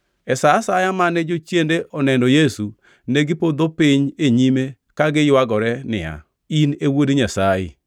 E sa asaya mane jochiende oneno Yesu, negipodho piny e nyime ka giywagore niya, “In e Wuod Nyasaye.”